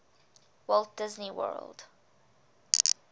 walt disney world